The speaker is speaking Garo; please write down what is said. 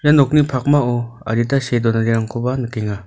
ia nokni pakmao adita see donanirangkoba nikenga.